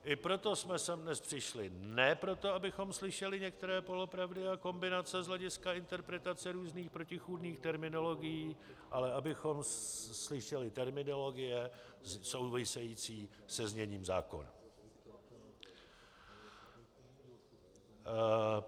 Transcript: I proto jsme sem dnes přišli, ne proto, abychom slyšeli některé polopravdy a kombinace z hlediska interpretace různých protichůdných terminologií, ale abychom slyšeli terminologie související se zněním zákona.